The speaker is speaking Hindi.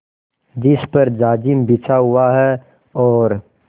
जिस पर जाजिम बिछा हुआ है और